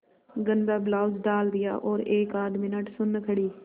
गंदा ब्लाउज डाल दिया और एकआध मिनट सुन्न खड़ी